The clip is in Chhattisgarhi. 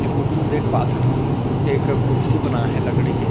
ए फोटु म देख पाथन हम एक कुर्सी बना हे लकड़ी के--